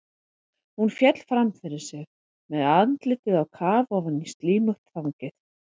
Hún féll fram yfir sig með andlitið á kaf ofan í slímugt þangið.